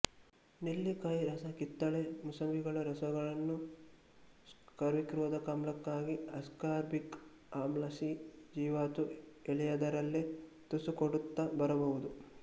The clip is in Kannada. ನೆಲ್ಲಿಕಾಯಿ ರಸ ಕಿತ್ತಳೆ ಮೂಸಂಬಿಗಳ ರಸಗಳನ್ನು ಸ್ಕರ್ವಿರೋಧಕಾಮ್ಲಕ್ಕಾಗಿ ಅಸ್ಕಾರ್ಬಿಕ್ ಆಮ್ಲ ಸಿ ಜೀವಾತು ಎಳೆಯದರಲ್ಲೇ ತುಸು ಕೊಡುತ್ತ ಬರಬಹುದು